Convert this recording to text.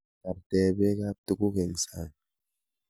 Tarte beekab tukuk eng sang.